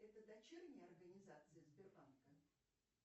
это дочерняя организация сбербанка